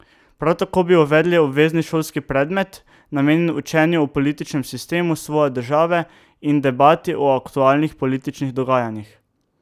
Prav tako bi uvedli obvezni šolski predmet, namenjen učenju o političnem sistemu svoje države in debati o aktualnih političnih dogajanjih.